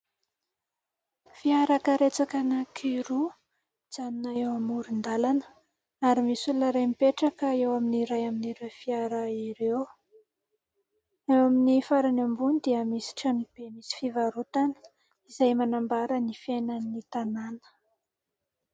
Fiara karetsaka anankiroa mijanona eo amoron-dàlana ary misy olona iray mipetraka eo amin'ny iray amin'ireo fiara ireo. Eo amin'ny farany ambony dia misy trano be misy fivarotana izay manambara ny fiainan'ny tanàna.